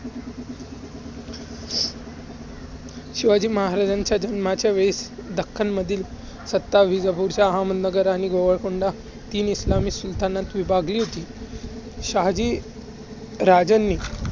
शिवाजी महाराजांच्या जन्माच्या वेळेस दख्खनमधील सत्ता विजापूरच्या अहदनगर आणि गोवलकोंडा तीन इस्लामी सुलातानात विभागली होती. शहाजी राजांनी